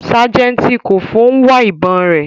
Sajenti Koffo n wa ibon re